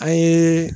An ye